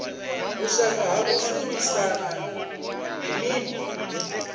vhushaka ha u shumisana ndi mini